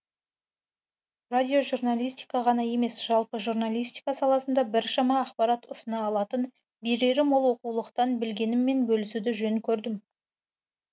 радиожурналистика ғана емес жалпы журналистика саласында біршама ақпарат ұсына алатын берері мол оқулықтан білгеніммен бөлісуді жөн көрдім